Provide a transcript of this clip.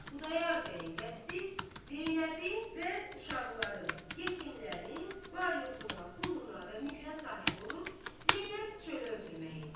Xudayar bəyin qəsdi Zeynəbin və uşaqların, yetimlərin var-yoxuna, puluna və mülkünə sahib olub Zeynəbi çölə ötürmək idi.